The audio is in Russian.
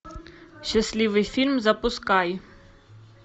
счастливый фильм запускай